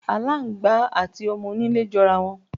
Aláǹgbá àti o̩mo̩-onílé jo̩rá wo̩n.